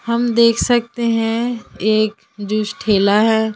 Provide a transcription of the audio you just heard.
हम देख सकते हैं एक जूस ठेला है।